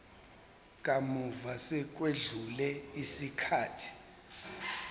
kamuva sekwedlule isikhathi